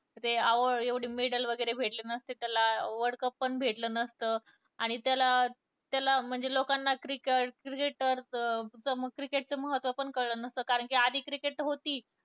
जे award एवढे medal भेटले नसते त्याला world cup पण भेटलं नसतं, आणि त्याला त्याला म्हणजे लोकांना cricket cricketer च cricket च महत्व पण कळलं नसत. आधी cricket तर होती.